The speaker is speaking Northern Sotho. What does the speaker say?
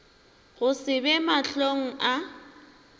go se be mahlong a